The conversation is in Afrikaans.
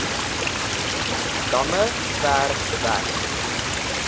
damme ver weg